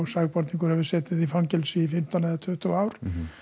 sakborningur hefur setið í fangelsi í fimmtán eða tuttugu ár